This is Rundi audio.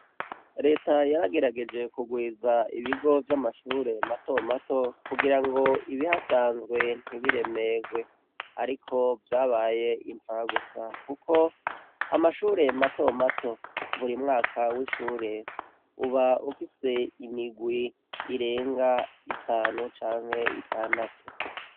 Reta yaragerageje kugwiza ibigo vy'amashure matomato kugira ngo ibihasanzwe ntibiremegwe ariko vyabaye impfagusa kuko amashure matomato buri mwaka w'ishure uba ufise imigwi irenga itanu canke itandatu.